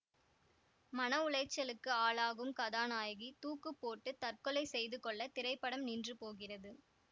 மன உளைச்சலுக்கு ஆளாகும் கதாநாயகி தூக்குப்போட்டுத் தற்கொலை செய்து கொள்ள திரைப்படம் நின்றுபோகிறது